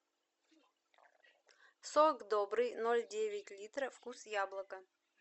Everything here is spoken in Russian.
сок добрый ноль девять литра вкус яблоко